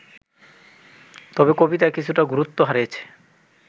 তবে কবিতা কিছুটা গুরুত্ব হারিয়েছে